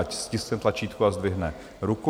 Ať stiskne tlačítko a zdvihne ruku.